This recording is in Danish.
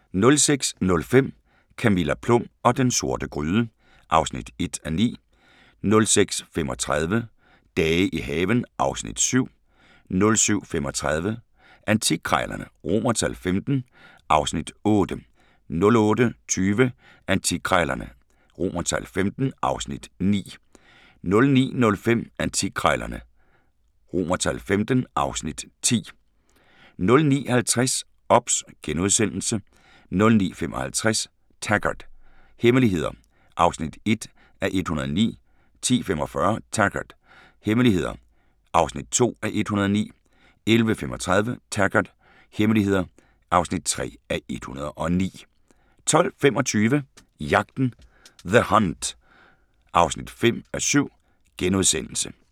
06:05: Camilla Plum og den sorte gryde (1:9) 06:35: Dage i haven (Afs. 7) 07:35: Antikkrejlerne XV (Afs. 8) 08:20: Antikkrejlerne XV (Afs. 9) 09:05: Antikkrejlerne XV (Afs. 10) 09:50: OBS * 09:55: Taggart: Hemmeligheder (1:109) 10:45: Taggart: Hemmeligheder (2:109) 11:35: Taggart: Hemmeligheder (3:109) 12:25: Jagten – The Hunt (5:7)*